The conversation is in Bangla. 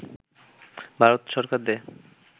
ভারত সরকার দেয়